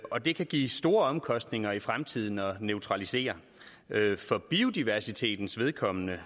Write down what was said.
og det kan give store omkostninger i fremtiden at neutralisere for biodiversitetens vedkommende